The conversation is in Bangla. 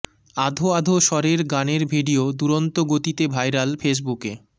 আধো আধো স্বরের গানের ভিডিও দুরন্ত গতিতে ভাইরাল ফেসবুকে